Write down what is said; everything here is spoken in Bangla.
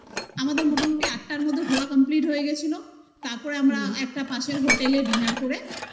আমাদের মোটামুটি আটটার মধ্যে ঘোরা complete হয়ে গেছিল তারপরে আমরা একটা পাশের hotel -এ dinner করে